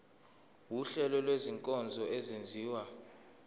wuhlengo lwezinkonzo ezenziwa